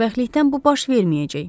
Xoşbəxtlikdən bu baş verməyəcək.